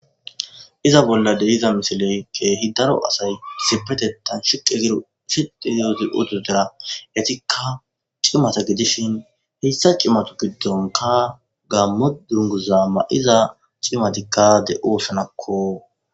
iza bolla dehiza misiley keehi daro asay sipetetan shiqe giro sii zazi oto dera etikka cimata gidishin hessa cimatu giddonka gammo dunguza ma7iza cimatikkade oosonakko